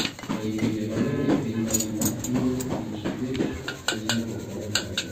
Ei pinje mangeny e piny mangima ,thiro kit chuech en chandruok ma nyaka nene.